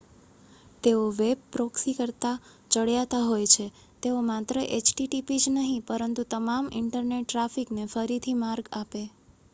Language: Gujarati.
તેઓ વેબ પ્રોક્સી કરતાં ચડિયાતા હોય છે તેઓ માત્ર એચટીટીપી જ નહીં પરંતુ તમામ ઇન્ટરનેટ ટ્રાફિકને ફરીથી માર્ગઆપે